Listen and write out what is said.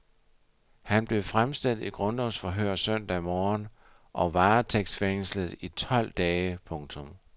Han blev fremstillet i grundlovsforhør søndag morgen og varetægtsfængslet i tolv dage. punktum